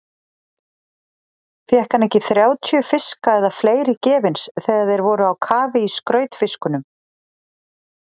Fékk hann ekki þrjátíu fiska eða fleiri gefins þegar þeir voru á kafi í skrautfiskunum?